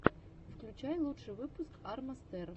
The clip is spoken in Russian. включай лучший выпуск арма стер